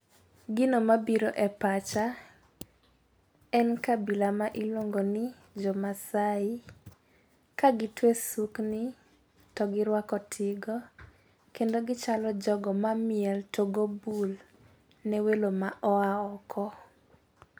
Gino mabiro e pacha en kabila ma iluongo ni jo masai . Ka gitwe sukni to girwako tigo kendo gichalo jogo mamiel to go bul ne welo ma oa oko.